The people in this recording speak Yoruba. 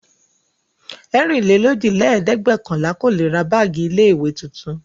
Ẹ̀rinlélójìlẹ́ẹ̀dẹ́gbẹ̀ọ̀kànlà kò le ra báágì ilé-ìwé tuntun.